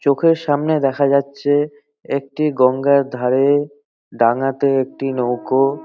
চোখের সামনে দেখা যাচ্ছে একটি গঙ্গার ধারে ডাঙ্গাতে একটি নৌকো ।